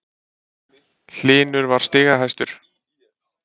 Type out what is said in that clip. Hlynur var stigahæstur